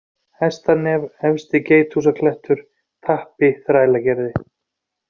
Hestanef, Efsti-Geithúsaklettur, Tappi, Þrælagerði